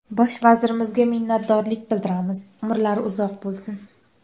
Bosh vazirimizga minnatdorlik bildiramiz, umrlari uzoq bo‘lsin.